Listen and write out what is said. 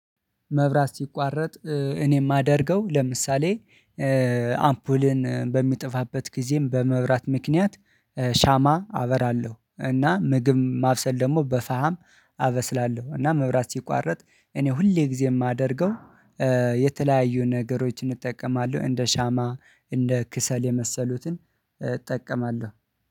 መብራት ሲቋረጥ እኔ የማደርገው ለምሳሌ አምፖል በሚጠፋበት ጊዜም በመብራት ምክንያት ሻማ አበራለሁ እና ምግብ ማብሰል ደግሞ በፋም አበስላለሁ። እና መብራት ሲቋረጥ እኔ ሁሌ ጊዜ የማደርገው የተለያዩ ነገሮችን እጠቀማለሁ እንደ ሻማ እንደ ከሰል የመሰሉትን እጠቀማለሁ።